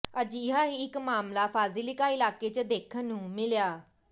ਅਜਿਹਾ ਹੀ ਇੱਕ ਮਾਮਲਾ ਫਾਜਿਲਕਾ ਇਲਾਕੇ ਚ ਦੇਖਣ ਨੂੰ ਮਿਲਿਆ